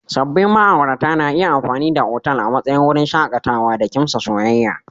Sabbin ma'aurata na iya amfani da otal a matsayin wurin shakatawa da kimsa soyayya.